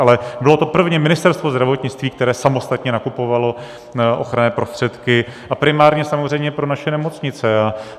Ale bylo to prvně Ministerstvo zdravotnictví, které samostatně nakupovalo ochranné prostředky, a primárně samozřejmě pro naše nemocnice.